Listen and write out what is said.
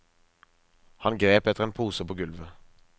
Han grep etter en pose på gulvet.